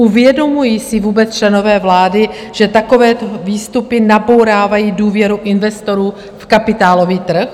Uvědomují si vůbec členové vlády, že takové výstupy nabourávají důvěru investorů v kapitálový trh?